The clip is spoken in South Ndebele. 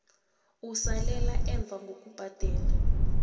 usalele emva ngokubhadela